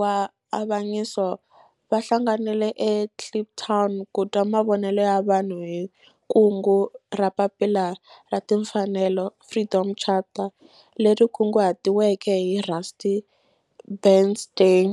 wa avanyiso va hlanganile eKliptown ku twa mavonelo ya vanhu hi kungu ra Papila ra Timfanelo, Freedom Charter, leri kunguhatiweke hi Rusty Bernstein.